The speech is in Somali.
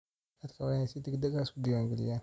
Dadku waa inay si degdeg ah isu diwaangeliyaan.